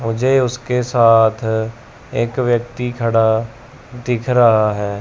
मुझे उसके साथ एक व्यक्ती खड़ा दिख रहा है।